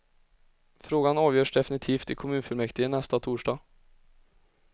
Frågan avgörs definitivt i kommunfullmäktige nästa torsdag.